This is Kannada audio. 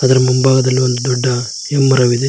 ಅದರ ಮುಂಭಾಗದಲ್ಲಿ ಒಂದು ದೊಡ್ಡ ಹೆಮ್ಮರವಿದೆ.